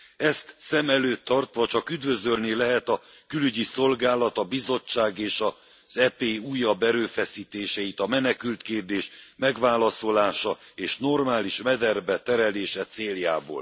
Ezt szem előtt tartva, csak üdvözölni lehet a Külügyi Szolgálat, a Bizottság és az EP újabb erőfeszítéseit a menekültkérdés megválaszolása és normális mederbe terelése céljából.